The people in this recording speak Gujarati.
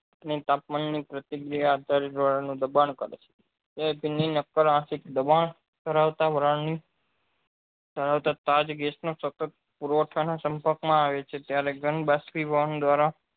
ને તાપમાન ની પ્રતિક્રિયા આધારે હવા નું દબાણ કરે છે સતત પુરવઠા ના સંપર્ક માં આવે છે ત્યારે બાસ્પીભવન દ્વારા